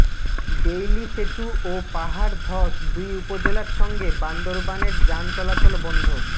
Bailey সেতু ও পাহাড়ধস দুই উপজেলার সঙ্গে বান্দরবানের যান চলাচল বন্ধ